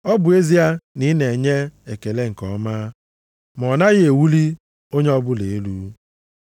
Ọ bụ ezie na ị na-enye ekele nke ọma, ma ọ naghị ewuli onye ọbụla elu.